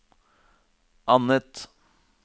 annet